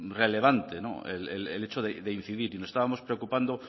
relevante el hecho de incidir y nos estábamos preocupando